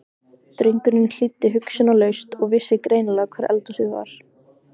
Drengurinn hlýddi hugsunarlaust og vissi greinilega hvar eldhúsið var.